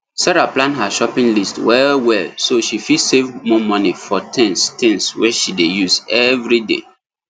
sarah plan her shopping list wellwell so she fit save more money for things things wey she dey use every day